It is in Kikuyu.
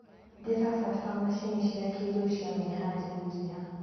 "Ndĩrabatara macini cĩa kĩrĩu cia meharĩrĩria".